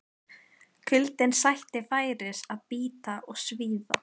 Kuldinn sætti færis að bíta og svíða.